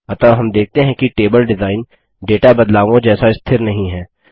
अतः हम देखते हैं कि टेबल डिजाइन डेटा बदलावों जैसा स्थिर नहीं हैं